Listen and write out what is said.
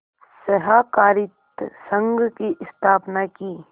सहाकारित संघ की स्थापना की